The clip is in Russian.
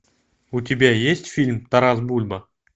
у тебя есть фильм тарас бульба